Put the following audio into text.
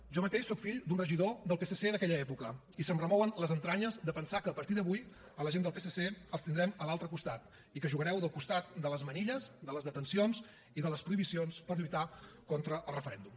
jo mateix soc fill d’un regidor del psc d’aquella època i se’m remouen les entranyes de pensar que a partir d’avui la gent del psc els tindrem a l’altre costat i que jugareu del costat de les manilles de les detencions i de les prohibicions per lluitar contra el referèndum